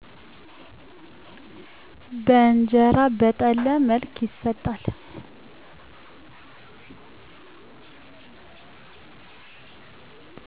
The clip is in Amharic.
በእንጀራ በጠለ መልክ ይሰጣል